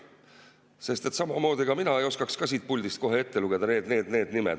Sest samamoodi, ega mina ei oskaks ka siit puldist kohe ette lugeda, et need, need ja need nimed.